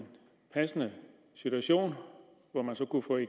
passende situation